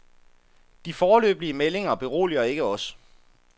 De foreløbige meldinger beroliger ikke os.